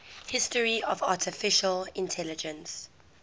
history of artificial intelligence